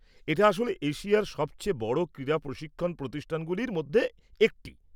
এটা আসলে এশিয়ার সবচেয়ে বড় ক্রীড়া প্রশিক্ষণ প্রতিষ্ঠানগুলির মধ্যে একটি।